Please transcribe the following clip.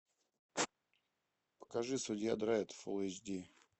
покажи судья дредд фул эйч ди